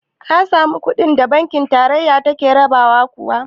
Ka samu kuɗin da banki tarayya take rabawa kuwa?